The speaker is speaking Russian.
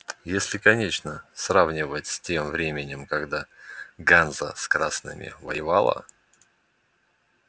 если конечно сравнивать с тем временем когда ганза с красными воевала